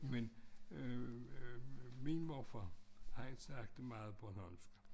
Men øh min morfar han snakkede meget bornholmsk